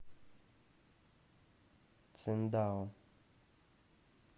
циндао